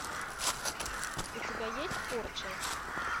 у тебя есть порча